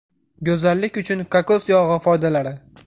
Go‘zallik uchun kokos yog‘i foydalari.